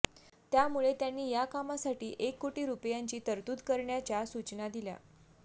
त्यामुळे त्यांनी या कामासाठी एक कोटी रुपयांची तरतूद करण्याच्या सूचना दिल्या